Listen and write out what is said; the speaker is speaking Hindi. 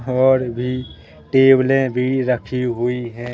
और भी टेबलें भी रखी हुई हैं।